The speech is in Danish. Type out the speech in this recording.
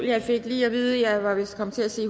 jeg lige at vide at jeg vist kom til at sige